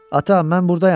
Ata, mən buradayam!